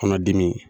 Kɔnɔdimi